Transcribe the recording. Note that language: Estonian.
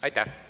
Aitäh!